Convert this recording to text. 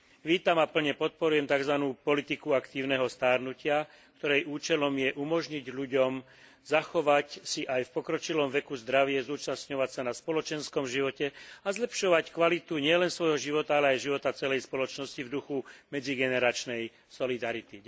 Vítam a plne podporujem takzvanú politiku aktívneho starnutia, ktorej účelom je umožniť ľuďom zachovať si aj v pokročilom veku zdravie, zúčastňovať sa na spoločenskom živote a zlepšovať kvalitu nielen svojho života, ale aj života celej spoločnosti v duchu medzigeneračnej solidarity.